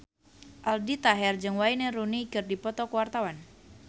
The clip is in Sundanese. Aldi Taher jeung Wayne Rooney keur dipoto ku wartawan